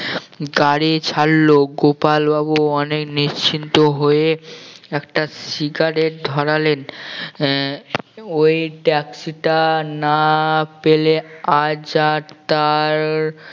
গাড়ি ছাড়লো গোপাল বাবু অনেক নিশ্চিন্ত হয়ে একটা সিগারেট ধরালেন আহ ওই taxi টা না পেলে আজ আর তার